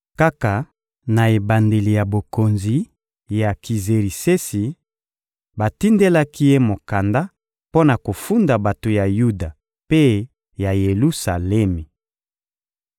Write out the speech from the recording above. Kaka na ebandeli ya bokonzi ya Kizerisesi, batindelaki ye mokanda mpo na kofunda bato ya Yuda mpe ya Yelusalemi.